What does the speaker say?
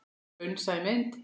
Raunsæ mynd?